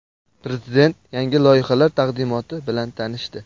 Prezident yangi loyihalar taqdimoti bilan tanishdi.